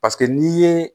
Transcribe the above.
Paseke n'i ye